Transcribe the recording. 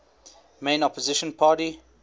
main opposition party